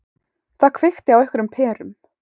Það kveikti á einhverjum perum.